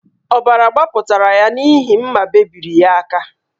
Ọbara gbapụtara ya n’ihi mma bebiri ya aka